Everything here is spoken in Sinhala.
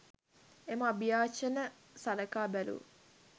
එම අභියාචන සලකා බැලූ